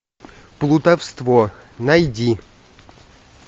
плутовство найди